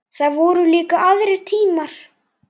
Það voru líka aðrir tímar.